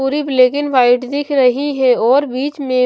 पूरी black and white दिख रही है और बीच में--